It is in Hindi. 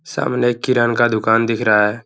सामने किरन का दुकान दिख रहा है।